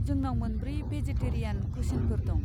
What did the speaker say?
जोंनाव मोनब्रै भेजेटेरियान कुसिनफोर दं।